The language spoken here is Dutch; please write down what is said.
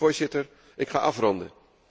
Voorzitter, ik ga afronden.